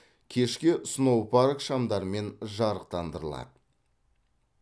кешке сноупарк шамдармен жарықтандырылады